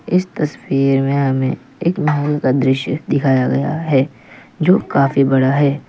इस तस्वीर में हमें एक महल का दृश्य दिखाया गया है जो काफी बड़ा है।